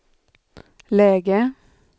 läge